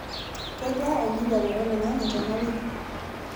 kejaa enkijape olaing'ang'e tena wiki